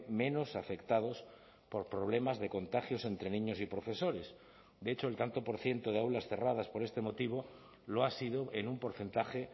menos afectados por problemas de contagios entre niños y profesores de hecho el tanto por ciento de aulas cerradas por este motivo lo ha sido en un porcentaje